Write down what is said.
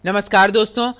नमस्कार दोस्तों